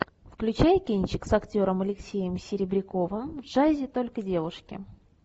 включай кинчик с актером алексеем серебряковым в джазе только девушки